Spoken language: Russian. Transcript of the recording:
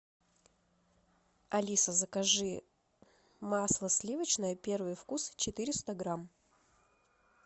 алиса закажи масло сливочное первый вкус четыреста грамм